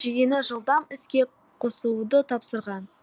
жүйені жылдам іске қосыуды тапсырған